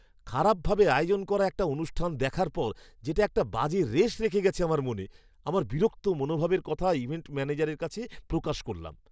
খারাপভাবে আয়োজন করা একটা অনুষ্ঠান দেখার পর, যেটা একটা বাজে রেশ রেখে গেছে আমার মনে, আমার বিরক্ত মনোভাবের কথাটা ইভেন্ট ম্যানেজারের কাছে প্রকাশ করলাম!